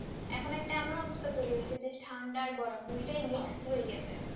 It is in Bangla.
এখন একটা এমন অবস্থা তৈরি হয়েছে যে ঠান্ডা আর গরম mix তৈরী হয়েছে তে